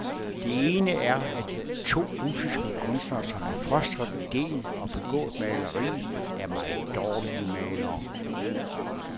Den ene er, at de to russiske kunstnere, som har fostret idéen og begået maleriet, er meget dårlige malere.